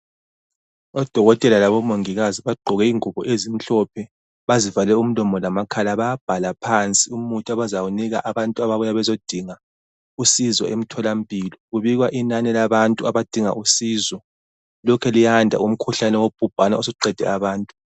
Odokotela labomongikazi bagqoke ingubo ezimhlophe bazivale umlomo lamakhala bayabhalaphansi umuthi abazawunika abantu ababuya bezodinga usizo emtholampilo kubikwa inani labantu abadinga usizo lokhe liyanda umkhuhlane wobhubhane osuqede abantu.